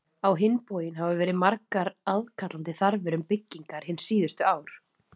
Á hinn bóginn hafa verið margar aðkallandi þarfir um byggingar hin síðustu ár.